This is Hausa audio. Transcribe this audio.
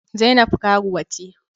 Zainab karuwa ce.